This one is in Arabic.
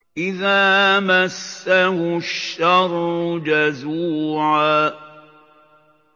إِذَا مَسَّهُ الشَّرُّ جَزُوعًا